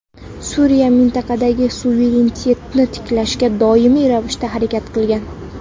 Suriya mintaqadagi suverenitetni tiklashga doimiy ravishda harakat qilgan.